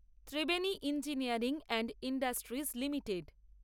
Triveni engineering and industries limited